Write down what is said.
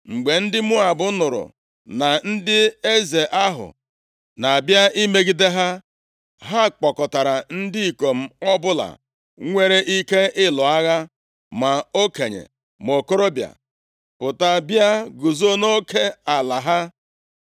Mgbe ndị Moab nụrụ na ndị eze ahụ na-abịa imegide ha, ha kpọkọtara ndị ikom ọbụla nwere ike ịlụ agha, ma okenye ma okorobịa, pụta bịa guzo nʼoke ala ha.